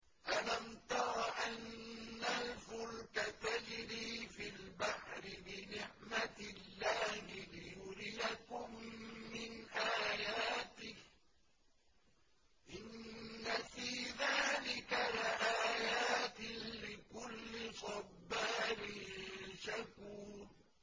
أَلَمْ تَرَ أَنَّ الْفُلْكَ تَجْرِي فِي الْبَحْرِ بِنِعْمَتِ اللَّهِ لِيُرِيَكُم مِّنْ آيَاتِهِ ۚ إِنَّ فِي ذَٰلِكَ لَآيَاتٍ لِّكُلِّ صَبَّارٍ شَكُورٍ